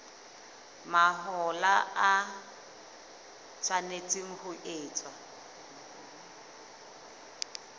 mahola e tshwanetse ho etswa